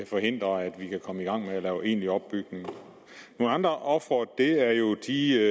forhindre at vi kan komme i gang med at lave egentlig opbygning nogle andre ofre er jo de